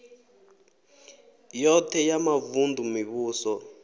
yoṱhe ya mavun ḓu mivhuso